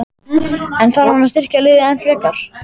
En þarf hann að styrkja liðið enn frekar?